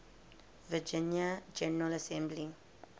virginia general assembly